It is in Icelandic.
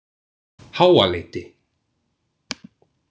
Háaleiti